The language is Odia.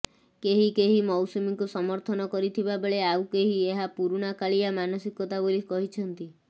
କେହି କେହି ମୌସୁମୀଙ୍କୁ ସମର୍ଥନ କରିଥିବା ବେଳେ ଆଉ କେହି ଏହା ପୁରୁଣା କାଳିଆ ମାନସିକତା ବୋଲି କହିଛନ୍ତି